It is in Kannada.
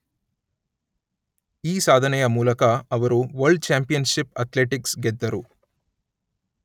ಈ ಸಾಧನೆಯ ಮೂಲಕ ಅವರು ವರ್ಲ್ಡ್ ಚ್ಯಾಂಪಿಯನ್ಷಿಪ್ ಅಥ್ಲೆಟಿಕ್ಸ್ ಗೆದ್ದರು